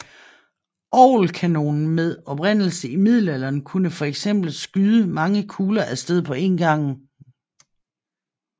Orgelkanonen med oprindelse i middelalderen kunne for eksempel skyde mange kugler af sted på én gang